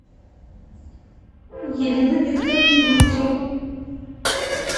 елена викторовна дмитриева